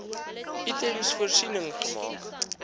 items voorsiening gemaak